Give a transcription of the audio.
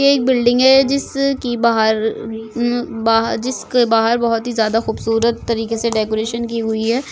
ये एक बिल्डिंग है जिस की बाहर बहा जिसकी बाहर बहुत ही ज्यादा खूबसूरत तरीके से डेकोरेशन की हुई है।